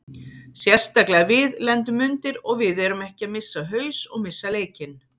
Sérstaklega við lendum undir og við erum ekki að missa haus og missa leikinn.